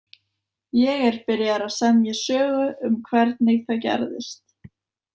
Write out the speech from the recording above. Ég er byrjaður að semja sögu um hvernig það gerðist.